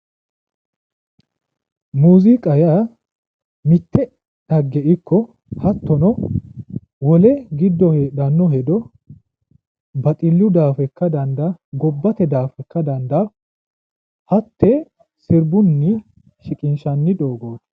muuziiqa yaa mitte dhagge ikko hattono wole giddo heedhanno hedo baxillu daafira ikka dandaanno gobbate daafo ikka dandaanno hattee sirbunni shiqinshanni doogooti.